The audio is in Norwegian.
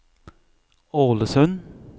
Ålesund